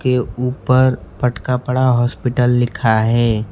के ऊपर फटका पड़ा हॉस्पिटल लिखा है।